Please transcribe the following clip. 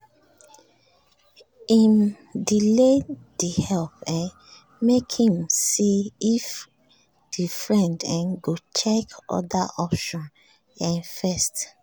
dem talk plain about money wahala before dem decide if dem go help again